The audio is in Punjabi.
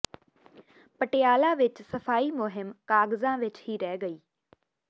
ਪਟਿਆਲਾ ਵਿਚ ਸਫ਼ਾਈ ਮੁਹਿੰਮ ਕਾਗਜ਼ਾਂ ਵਿਚ ਹੀ ਰਹਿ ਗਈ